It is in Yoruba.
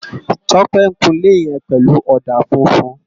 Tope n kún ilé yèn pèlú òdá fúfún